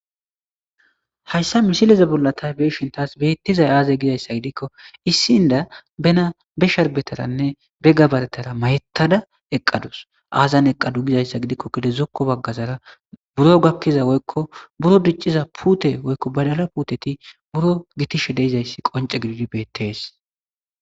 Hayssa misileze bollatay beeshintaas beettizay aaze gizayssa gidikko issinda bena be sharbetaranne begga baretara mayettada eqadus aazan eqadu gizayssa gidikko gede zokko baggazara buro gakkiza woykko buro dicciza puute woykko badala puuteti buro gitishe deizayssi qonce gididi beettees.